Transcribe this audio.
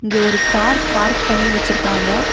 இங்க ஒரு car park பண்ணி வச்சிருக்காங்க.